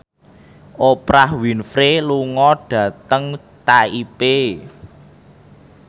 Oprah Winfrey lunga dhateng Taipei